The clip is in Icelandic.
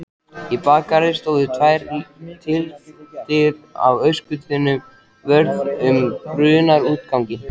Í bakgarði stóðu tvær tylftir af öskutunnum vörð um brunaútganginn.